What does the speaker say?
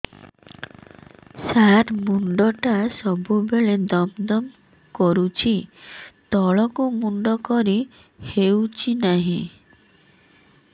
ସାର ମୁଣ୍ଡ ଟା ସବୁ ବେଳେ ଦମ ଦମ କରୁଛି ତଳକୁ ମୁଣ୍ଡ କରି ହେଉଛି ନାହିଁ